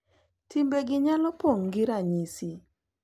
Timbegi nyalo pong’ gi ranyisi.